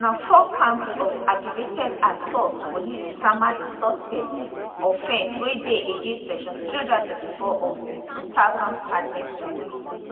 na four counts of aggravated assault police sama di suspects offence wey dey against section 324 of di 2000 penal code